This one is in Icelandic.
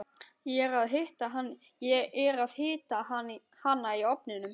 Ég er að hita hana í ofninum.